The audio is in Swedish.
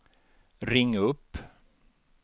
ring upp